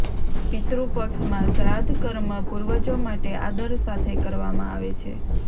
પિતૃ પક્ષમાં શ્રાદ્ધ કર્મ પૂર્વજો માટે આદર સાથે કરવામાં આવે છે